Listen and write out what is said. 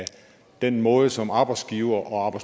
den måde som arbejdsgivere og